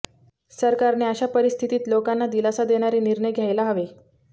सरकारने अशा परिस्थितीत लोकांना दिलासा देणारे निर्णय घ्यायला हवे